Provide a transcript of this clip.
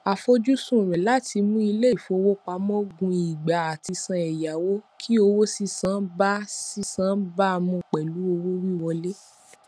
àfojúsùn rẹ láti mú iléìfowópamọ gùn ìgbà àtisàn ẹyáwó kí owó sísan bá sísan bá mu pẹlú owó wíwọlé